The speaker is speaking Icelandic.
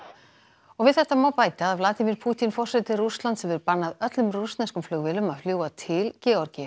og við þetta má bæta að Pútín forseti Rússlands hefur bannað öllum rússneskum flugvélum að fljúga til Georgíu